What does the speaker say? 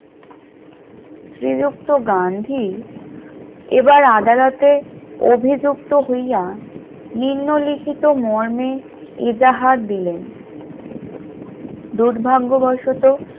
শ্রীযুক্ত গান্ধী এবার আদালতে অভিযুক্ত হইয়া নিম্নলিখিত মর্মে এজাহার দিলেন দুর্ভাগ্যবশত